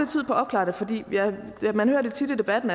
tid på at opklare det fordi man hører tit i debatten